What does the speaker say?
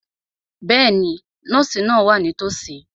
Bẹ́ẹ̀ni, nọ́ọ̀sì náà wà nítòsí.